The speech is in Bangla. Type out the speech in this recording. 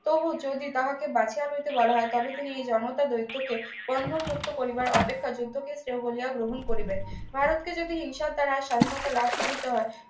তবু যদি তাহাকে বাঁচিয়া লইতে বলা হয় তবে তিনি এই জনতা দৈত্যকে বন্ধনমুক্ত করিবার অপেক্ষার যুদ্ধক্ষেত্র হলেও গ্রহণ করিবেন ভারতকে যদি হিংসা দ্বারা স্বাধীনতা লাভ করিতে হয়